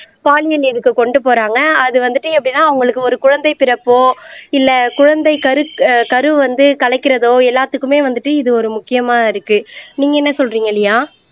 பாலியல் இதுக்கு கொண்டு போறாங்க அது வந்துட்டு எப்படின்னா அவங்களுக்கு ஒரு குழந்தை பிறப்போ இல்லை குழந்தை கரு ஆஹ் கரு வந்து கலைக்கிறதோ எல்லாத்துக்குமே வந்துட்டு இது ஒரு முக்கியமா இருக்கு நீங்க என்ன சொல்றீங்க லியா